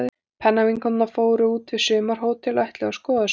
Pennavinkonurnar fóru út við sumarhótel og ætluðu að skoða sig um.